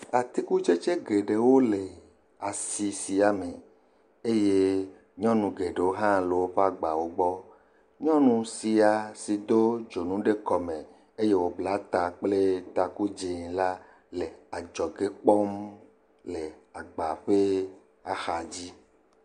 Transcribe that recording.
Atikutsetse geɖewo le asi sia me eye nyɔnu geɖewo hã le woƒe agbawo gbɔ. Nyɔnu sia si do dzonu ɖe kɔmɔ eye wobla ta kple taku dzɛ̃ la le adzɔge kpɔm le agba ƒe axadzi.